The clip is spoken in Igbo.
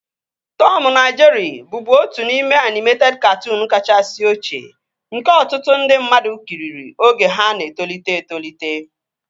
Tọmu na Jerịị bụbu otu n'ime anịmeted katụụnu kachasị ochie nke ọtụtụ ndị mmadụ kiriri oge ha na-etolite etolite